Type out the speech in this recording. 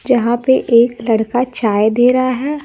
यहां पे एक लड़का चाय दे रहा है।